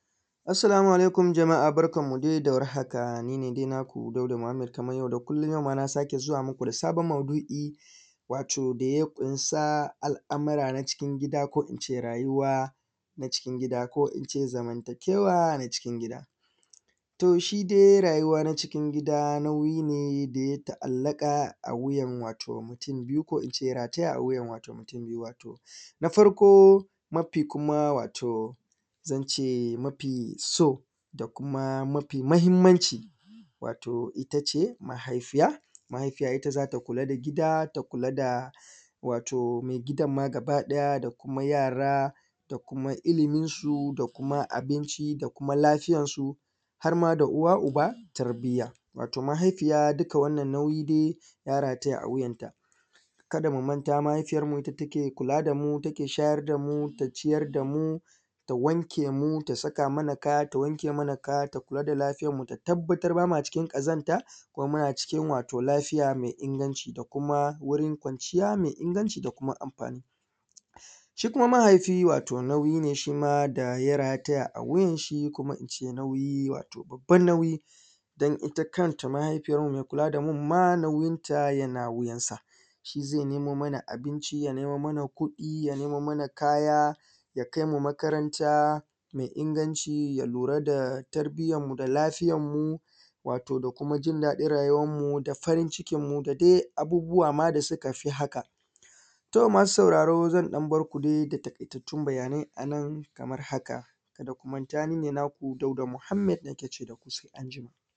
Assalamu alaikum jamaa barkanmu da warhaka ni ne dai maku Dauda Muhammad yauma na ƙara zuwa mu ku da sabon maudu’i wato da yaƙunsa al’amura na cikin gida ko ince rayuwa na cikin gida ko ince zamantakewa na cikin gida. To, shi dai rayuwan cikin gida nau’i ne da ya ta’allaƙa a wuyan wato na farko mafi kusa wato zance mafi so da kuma mafi mahinmanci wato ita ce mahaifiya, mahaifiya ita za ta kula da gida ta kula da wato me gidan ma gabaɗaya da kuma yara da kuma iliminsu da kuma abinci da kuma lafiyansu har ma da uwa-uba tarbiya. Wato, mahaifiya duka wannan nauyi dai ya rataya a wuyanta ka da mu manta mahaifiyanmu ita take kula da mu, take shayar da mu, ta ciyar da mu, ta wanke mu, ta saka mana kaya, ta kula da lafiyanmu, ta tabbatar ba ma cikin ƙazanta kuma wato muna cikin lafiya me inganci da kuma wurin kwanciya me inganci da kuma anfani. Shi kuma mahaifi nau’I ne da kuma ya rataya a wuyan shi ko kuma in ce nauyi wato babban nauyi dan ita kanta mahaifiyanmu me kula da mu, ita ma nauyin ta yana wuyansa, shi ze nemo mana abinci, ya nemo muna kuɗi ya nemo mana kaya, ya nemo mana makaranta me inganci, ya lura da tarbiyanmu da lafiyanmu. Wato, da kuma jin daɗin rayuwanmu da farin cikin mu da dai abubuwa ma da suka fi haka, to masu sauraro zan ɗan bar ku dai a nan kaman haka ka da ku manta ni ne naku Muhammad nake ce da ku sai anjima.